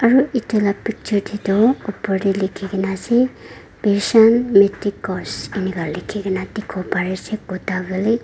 etu laga picture teto upar te lekhi kena ase bishal medicos eningka likhe kena dekhi pari ase.